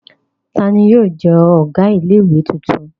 Ta ni yóò jẹ́ ọ̀gá ilé-ìwé tuntun?